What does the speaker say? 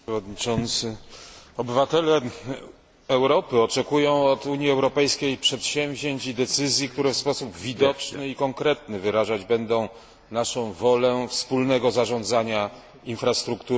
Obywatele Europy oczekują od Unii Europejskiej przedsięwzięć i decyzji, które w sposób widoczny i konkretny wyrażać będą naszą wolę wspólnego zarządzania infrastrukturą ponadnarodową.